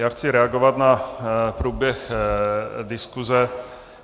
Já chci reagovat na průběh diskuse.